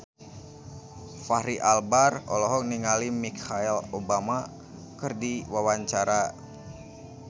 Fachri Albar olohok ningali Michelle Obama keur diwawancara